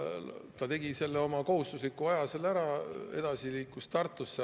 Ta tegi oma kohustusliku aja seal ära, edasi liikus Tartusse.